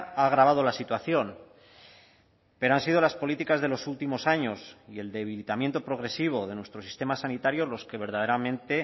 ha agravado la situación pero han sido las políticas de los últimos años y el debilitamiento progresivo de nuestro sistema sanitario los que verdaderamente